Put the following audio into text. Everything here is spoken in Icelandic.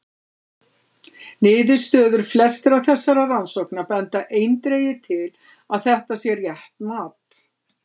Niðurstöður flestra þessara rannsókna benda eindregið til að þetta sé rétt mat.